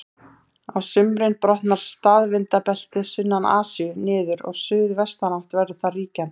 Á sumrin brotnar staðvindabeltið sunnan Asíu niður og suðvestanátt verður þar ríkjandi.